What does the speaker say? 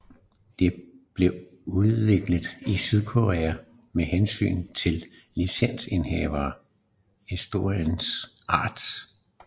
Det blev udviklet i Sydkorea med tilsyn fra licensindehaver Electronic Arts